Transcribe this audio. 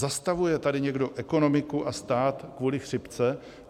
Zastavuje tady někdo ekonomiku a stát kvůli chřipce?